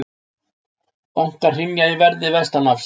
Bankar hrynja í verði vestanhafs